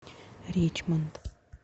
ричмонд